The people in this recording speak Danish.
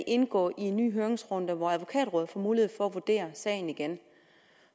indgå i en ny høringsrunde hvor advokatrådet får mulighed for at vurdere sagen igen